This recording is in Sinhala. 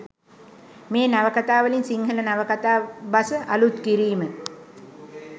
මේ නවකතාවලින් සිංහල නවකතා බස අලුත් කිරීම